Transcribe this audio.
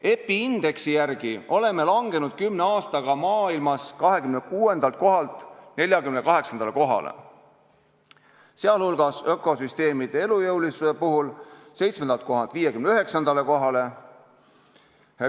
EPI indeksi järgi oleme kümne aastaga langenud maailmas 26. kohalt 48. kohale, sh ökosüsteemide elujõulisuse puhul 7. kohalt 59. kohale.